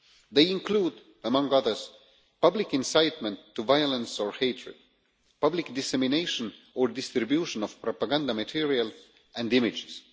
They include, among others, public incitement to violence or hatred, public dissemination or distribution of propaganda material and images.